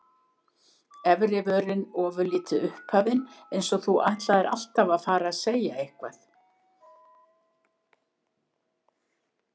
Efri vörin ofurlítið upphafin, eins og þú ætlaðir alltaf að fara að segja eitthvað.